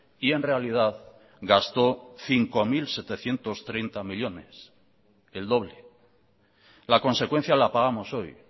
y en realidad gastó cinco mil setecientos treinta millónes el doble la consecuencia la pagamos hoy